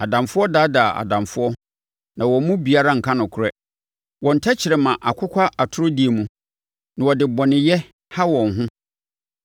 Adamfo daadaa adamfo, na wɔn mu biara nka nokorɛ. Wɔn tɛkrɛma akokwa atorodie mu, na wɔde bɔneyɛ ha wɔn ho.